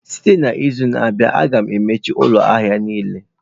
Site n'izu na-abịa, a ga-emechi ụlọ ahịa niile.